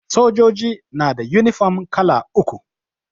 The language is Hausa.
Sojoji na da yunifom kala uku